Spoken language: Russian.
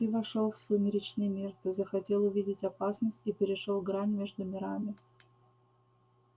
ты вошёл в сумеречный мир ты захотел увидеть опасность и перешёл грань между мирами